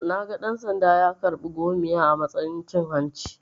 Naga dan-sanda ya karɓa 'gomiya' a matsayin cin hanci.